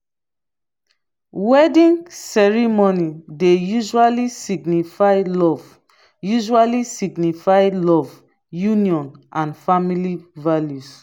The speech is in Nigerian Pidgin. wedding ceremony dey usually signify love usually signify love union and family values